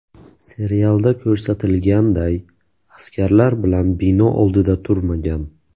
Serialda ko‘rsatilganday, askarlar bilan bino oldida turmagan.